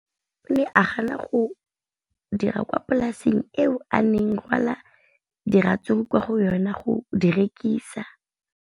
O ne a gana tšhono ya go dira kwa polaseng eo a neng rwala diratsuru kwa go yona go di rekisa.